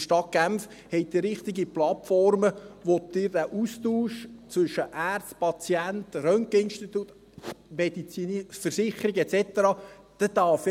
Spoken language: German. Die Stadt Genf hat richtige Plattformen, bei denen Sie den Austausch zwischen Ärzten und Patienten, Röntgeninstituten, medizinischen Versicherungen et cetera haben.